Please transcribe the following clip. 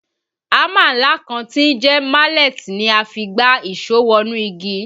Hámà ńlá kan tí ń jẹ́ mallet ni a fi ń gbá ìṣó wọnú igi